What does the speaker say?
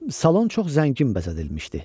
Salon çox zəngin bəzədilmişdi.